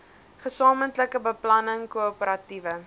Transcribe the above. gesamentlike beplanning koöperatiewe